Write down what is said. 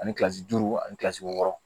Ani kilasi duuru ani kilasi wɔɔrɔ